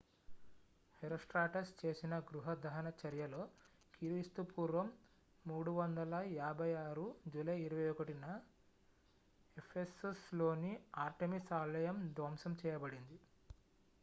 herostratus చేసిన గృహ దహన చర్యలో క్రీస్తుపూర్వం 356 జూలై 21న ephesusలోని artemis ఆలయం ధ్వంసం చేయబడింది